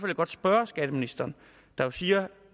jeg godt spørge skatteministeren der jo siger